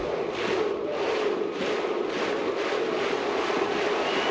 var